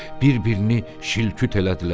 Bir-birini şil-küt elədilər.